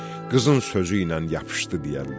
qızın sözü ilə yapışdı deyərlər.